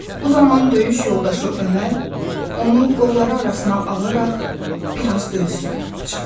Bu zaman döyüş yoldaşı Ömər onu qolları arasına alaraq bir az döz!